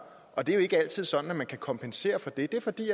og det er jo ikke altid sådan at man kan kompensere for det det er fordi